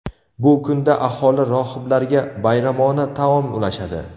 Bu kunda aholi rohiblarga bayramona taom ulashadi.